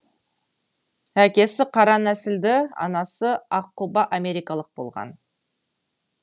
әкесі қара нәсілді анасы аққұба америкалық болған